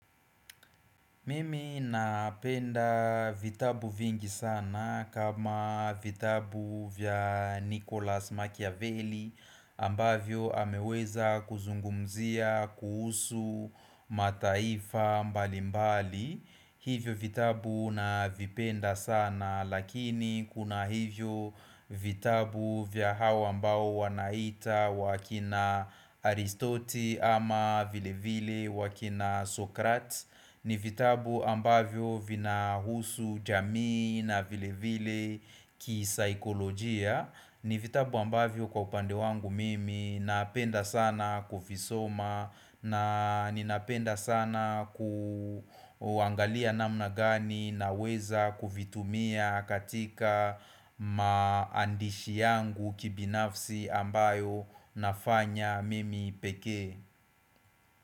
Mimi napenda vitabu vingi sana kama vitabu vya Nicholas Machiavelli ambavyo ameweza kuzungumzia kuhusu mataifa mbalimbali. Hivyo vitabu navipenda sana lakini kuna hivyo vitabu vya hawa ambao wanaita wakina Aristote ama vile vile wakina Sokrat ni vitabu ambavyo vinahusu jamii na vile vile kisaikolojia ni vitabu ambavyo kwa upande wangu mimi napenda sana kuvisoma na ninapenda sana kuangalia namna gani naweza kuvitumia katika maandishi yangu kibinafsi ambayo nafanya mimi pekee.